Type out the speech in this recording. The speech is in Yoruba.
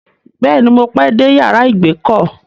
Bẹ́ẹ̀ ni, mo pẹ́ dé yàrá ìgbèkọ́.